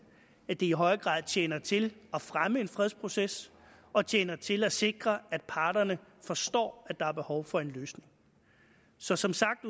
at det i højere grad tjener til at fremme en fredsproces og tjener til at sikre at parterne forstår at der er behov for en løsning så som sagt